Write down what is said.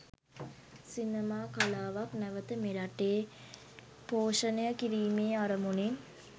සිනමා කලාවක් නැවත මෙරටේ පෝෂණය කිරීමේ අරමුණින්.